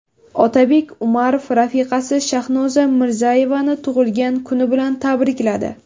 Otabek Umarov rafiqasi Shahnoza Mirziyoyevani tug‘ilgan kuni bilan tabrikladi.